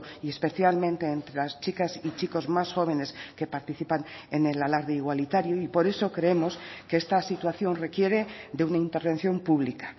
y especialmente entre las chicas y chicos más jóvenes que participan en el alarde igualitario y por eso creemos que esta situación requiere de una intervención pública